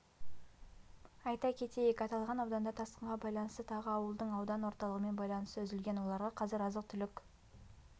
айта кетейік аталған ауданда тасқынға байланысты тағы ауылдың аудан орталығымен байланысы үзілген оларға қазір азық-түлік